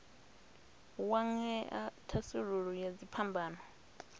wa ṅea thasululo ya dziphambano